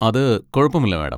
അത് കുഴപ്പമില്ല, മാഡം.